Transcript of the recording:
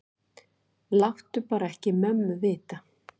Láttu bara ekki mömmu vita.